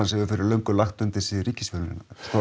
hefur fyrir löngu lagt undir sig ríkisfjölmiðlana og